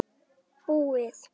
Búið!